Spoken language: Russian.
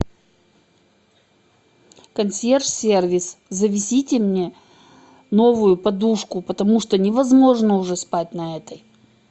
консьерж сервис завезите мне новую подушку потому что невозможно уже спать на этой